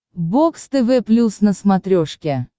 бокс тв плюс на смотрешке